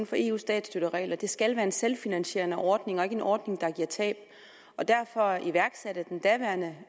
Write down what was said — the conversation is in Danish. for eus statsstøtteregler det skal være en selvfinansierende ordning og ikke en ordning der giver tab og derfor iværksatte den daværende